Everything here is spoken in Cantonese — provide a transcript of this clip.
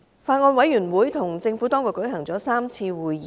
法案委員會與政府當局舉行了3次會議。